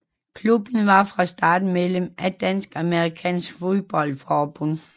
Klubben var fra starten medlem af Dansk Amerikansk Fodbold Forbund